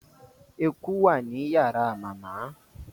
ẹkú wá nínú yàrá màmá